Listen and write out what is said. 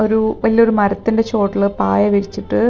ഒരു വലിയൊരു മരത്തിന്റെ ചുവട്ടില് പായ വിരിച്ചിട്ട്--